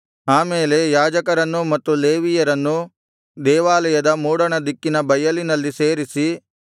ಆಮೇಲೆ ಯಾಜಕರನ್ನೂ ಮತ್ತು ಲೇವಿಯರನ್ನೂ ದೇವಾಲಯದ ಮೂಡಣದಿಕ್ಕಿನ ಬಯಲಿನಲ್ಲಿ ಸೇರಿಸಿ